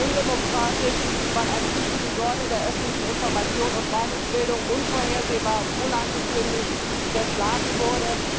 Undemokratisch, weil eine wichtige Säule der öffentlichen Information und Meinungsbildung unvorhersehbar und unangekündigt zerschlagen wurde.